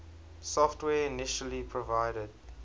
software initially provided